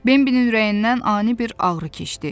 Bembilin ürəyindən ani bir ağrı keçdi.